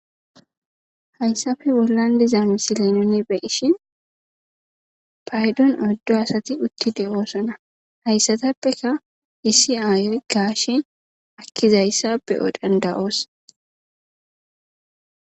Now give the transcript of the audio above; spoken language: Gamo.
Hayisape bollan diza misilan nu be'ishin payidon oyidu asati uti de'osona hayisatapeka issi ayoy gashe ekizayisa be'o danida'os